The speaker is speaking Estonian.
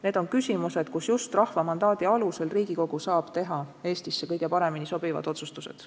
Need on küsimused, kus just rahva mandaadi alusel tegutsev Riigikogu saab teha Eestis kõige paremini sobivad otsustused.